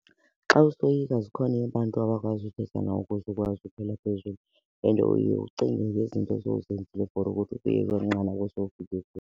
Xa usoyika zikhona abantu abakwazi uthetha nawe ukuze ukwazi ukhwela phezulu and uye ucinge ngezinto osowuzenzile for ukuthi ufike kweli nqanaba osowufike kulo.